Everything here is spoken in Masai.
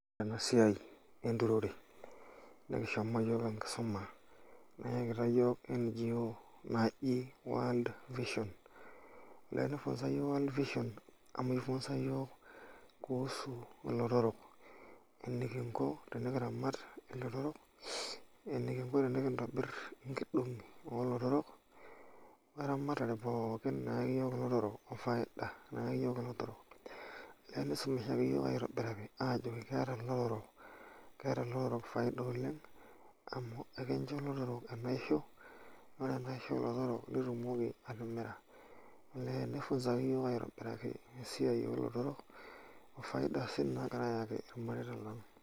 Ena siai enturore nikishomo iyiook enkisuma nayakitia iyiook NGO naji World Vision naa kifunza iyiook Vision, ifunza iyiook kuhusu ilotorok enikinko tenikiramat ilotorok enikinko enikintobirr inkidong'i oo lotorok onkasarani naayau ilotorok ofaidani naayau ilotorok nifundishai iyiook aitobiraki aajo keeta ilotorok faida oleng' amu ekeyiu ilotorok enaisho, ore enasiho o lotorok naa itumoki atimira neeku kifundishaki iyiook aitobiraki esiai oo lotorok o faida sii nagira aayaki irmareita lang'.